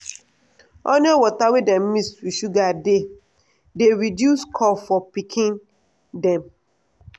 onion water wey dem mix with sugar dey dey reduce cough for pikin dem.